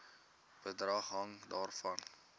bedrag hang daarvan